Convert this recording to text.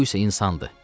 Bu isə insandır.